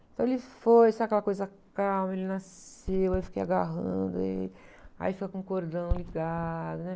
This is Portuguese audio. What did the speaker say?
Então ele foi, sabe aquela coisa calma, ele nasceu, aí eu fiquei agarrando ele, aí fica com o cordão ligado, né?